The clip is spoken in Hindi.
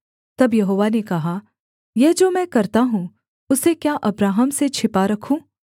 तब यहोवा ने कहा यह जो मैं करता हूँ उसे क्या अब्राहम से छिपा रखूँ